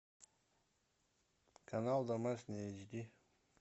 канал домашний эйч ди